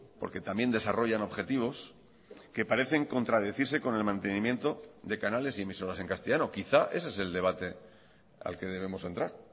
porque también desarrollan objetivos que parecen contradecirse con el mantenimiento de canales y emisoras en castellano quizá ese es el debate al que debemos entrar